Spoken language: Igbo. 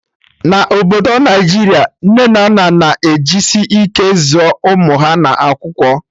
Na obodo Naijiria, nne na nna na ejisi ike zụọ ụmụ ha na akwụkwọ